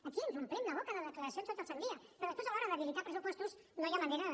aquí ens omplim la boca de declaracions tot el sant dia però després a l’hora d’habilitar pressupostos no hi ha manera de